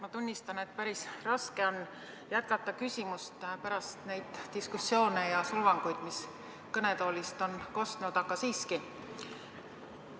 Ma tunnistan, et päris raske on jätkata küsimist pärast neid diskussioone ja solvanguid, mis kõnetoolist on kostnud, aga siiski.